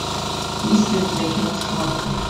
есть ли у тебя кино схватка